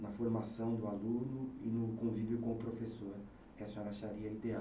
na formação do aluno e no convívio com o professor, que a senhora acharia ideal.